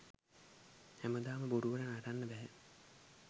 හැමදාම බොරුවට නටන්න බැහැ.